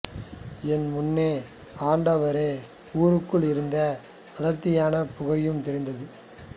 என் முன்னே ஆண்டோவர் ஊருக்குள் இருந்த அடர்த்தியான புகையும் தெரிந்தது